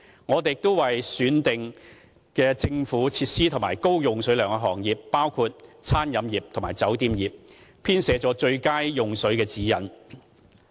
我們亦已為選定的政府設施及高用水量的行業，包括餐飲業及酒店業，編寫了最佳用水指引。